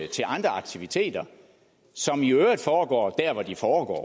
til andre aktiviteter som i øvrigt foregår der hvor de foregår